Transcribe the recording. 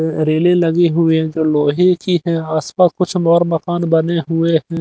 रेले लगे हुए जो लोहे की है आप पास कुछ और मकान बने हुए है।